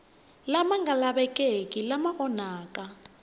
lama nga lavekeki lama onhaka